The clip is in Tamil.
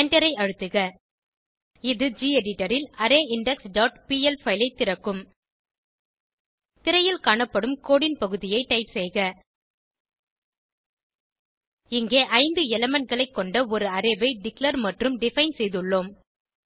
எண்டரை அழுத்துக இது ஜெடிட்டர் ல் அரேயிண்டெக்ஸ் டாட் பிஎல் பைல் ஐ திறக்கும் திரையில் காணப்படும் கோடு ன் பகுதியை டைப் செய்க இங்கே 5 elementகளை கொண்ட ஒரு அரே ஐ டிக்ளேர் மற்றும் டிஃபைன் செய்துள்ளோம்